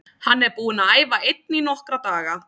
Hann er búinn að æfa einn í nokkra daga.